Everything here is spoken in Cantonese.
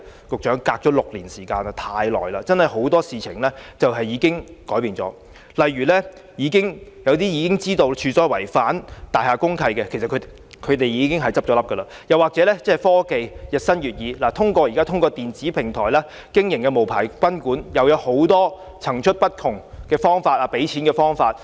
局長，事隔6年，時間實在太長，很多事情已改變了，例如一些自知違反大廈公契的賓館已經結業，又例如科技日新月異下，現在透過電子平台經營的無牌賓館有很多層出不同的付款方法。